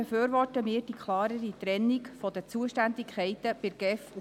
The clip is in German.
Wir befürworten auch die klarere Trennung der Zuständigkeiten der GEF und der POM.